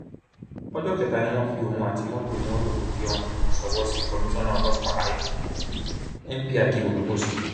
ọjọ kẹta ni wọn fi òun àti mọtò onímọtò tó jí ohun ṣọwọ sí komisanna ọlọpàá èkó nphakeem odúmọsù